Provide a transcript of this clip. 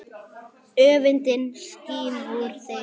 Öfundin skín úr þeim.